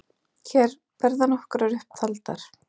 Hér verða nokkrar upp taldar